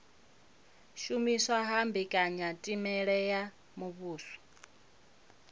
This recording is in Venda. shumiswa ha mbekanyamitele ya muvhuso